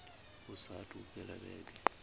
hu saathu u fhela vhege